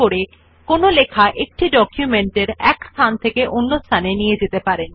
আপনি কাট এবং পাস্তে বৈশিষ্ট্যদুটি একটি ডকুমেন্ট এর এক জায়গা থেকে অন্য জায়গায় সরানোর জন্য ব্যবহার করতে পারেন